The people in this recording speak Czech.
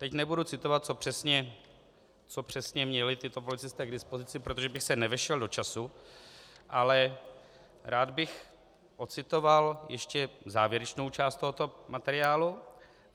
Teď nebudu citovat, co přesně měli tito policisté k dispozici, protože bych se nevešel do času, ale rád bych odcitoval ještě závěrečnou část tohoto materiálu.